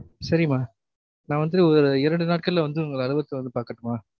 சரிம்மா நா வந்து இரண்டு நாட்க்குள்ள வந்து உங்க அலுவலகலத்துல வந்து பாக்கட்டுமா